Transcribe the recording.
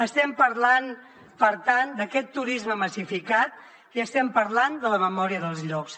estem parlant per tant d’aquest turisme massificat i estem parlant de la memòria dels llocs